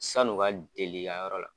San'u ka deli yan yɔrɔ la.